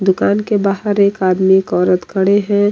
दुकान के बाहर एक आदमी एक औरत खड़े है।